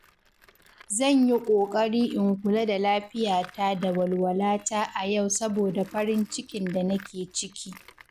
Zan yi ƙoƙari in kula da lafiyata da walwalata a yau saboda farin cikin da nake ciki.